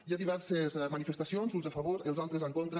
hi ha diverses manifestacions uns a favor els altres en contra